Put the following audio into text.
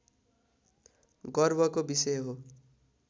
गर्वको विषय हो